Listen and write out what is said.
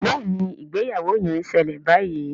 Béèni ìgbéyàwó yén ṣẹlẹ bayí.